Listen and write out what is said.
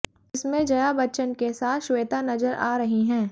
जिसमें जया बच्चन के साथ श्वेता नजर आ रही हैं